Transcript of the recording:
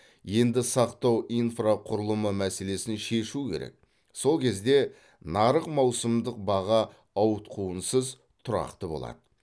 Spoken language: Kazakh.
енді сақтау инфрақұрылымы мәселесін шешу керек сол кезде нарық маусымдық баға ауытқуынсыз тұрақты болады